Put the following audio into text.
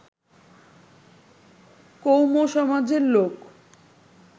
কৌম সমাজের লোক